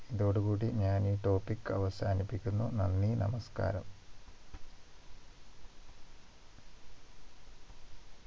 ഇതോടു കൂടി ഞാൻ ഈ Topic അവസാനിപ്പിക്കുന്നു നന്ദി നമസ്കാരം